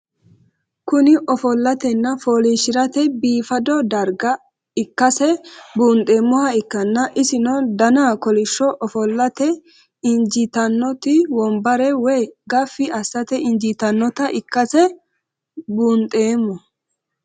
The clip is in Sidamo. Kuni ofolatena folishirate bifado darga ikase bunxemoha ikana isino Dana kolish ofolate injitanoti wonbare woyi gafi asate injinota ikase bundhemo?